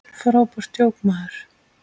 Frábært djók, maður!